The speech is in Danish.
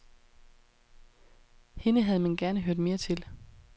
Hende havde man gerne hørt mere til.